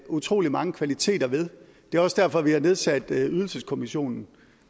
utrolig mange kvaliteter ved og det er også derfor vi har nedsat ydelseskommissionen